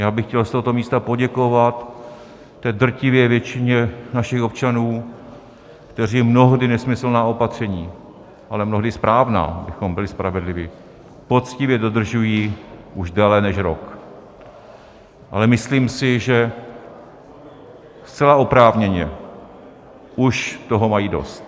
Já bych chtěl z tohoto místa poděkovat té drtivé většině našich občanů, kteří mnohdy nesmyslná opatření, ale mnohdy správná, abychom byli spravedliví, poctivě dodržují už déle než rok, ale myslím si, že zcela oprávněně už toho mají dost.